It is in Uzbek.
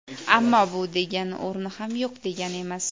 Ammo bu degani o‘rni ham yo‘q degani emas.